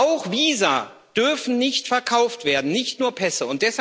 Auch Visa dürfen nicht verkauft werden, nicht nur Pässe.